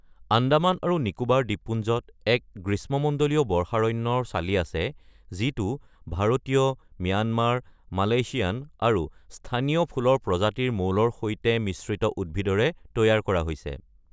আন্দামান আৰু নিকোবাৰ দ্বীপপুঞ্জত এক গ্ৰীষ্মমণ্ডলীয় বৰ্ষাৰণ্যৰ চালি আছে, যিটো ভাৰতীয়, ম্যানমাৰ, মালয়েছিয়ান আৰু স্থানীয় ফুলৰ প্ৰজাতিৰ মৌলৰ সৈতে মিশ্ৰিত উদ্ভিদৰে তৈয়াৰ কৰা হৈছে।